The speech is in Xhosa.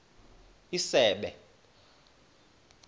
isebe